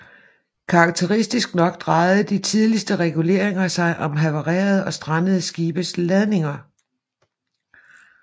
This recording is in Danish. Karakteristisk nok drejede de tidligste reguleringer sig om havarerede og strandede skibes ladninger